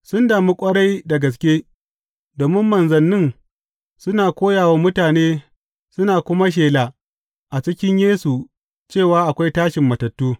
Sun damu ƙwarai da gaske domin manzannin suna koya wa mutane suna kuma shela a cikin Yesu cewa akwai tashin matattu.